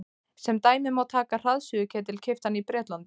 sem dæmi má taka hraðsuðuketil keyptan í bretlandi